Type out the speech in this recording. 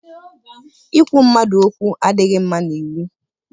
Ikwu mmadụ okwu adịghị mma n'iwu.